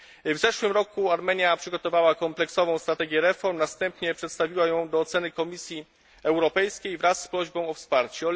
W ubiegłym roku Armenia przygotowała kompleksową strategię reform, następnie przedstawiła ją do oceny Komisji Europejskiej wraz z prośbą o wsparcie.